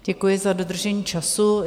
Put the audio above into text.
Děkuji za dodržení času.